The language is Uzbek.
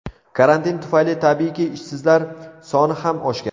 Karantin tufayli, tabiiyki, ishsizlar soni ham oshgan.